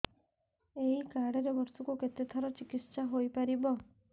ଏଇ କାର୍ଡ ରେ ବର୍ଷକୁ କେତେ ଥର ଚିକିତ୍ସା ହେଇପାରିବ